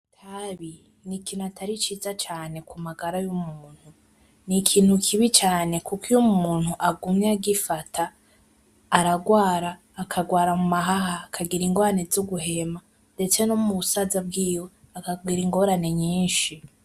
Itabi nikintu kitari ciza cane kumagara yumuntu , nikintu kibi cane kuko iyo umuntu agumye agifata aragwara, akagwara mumahaha , akagira ingorane zo guhema ndetse no mubusaza bwiwe aragira ingorane nyinshi .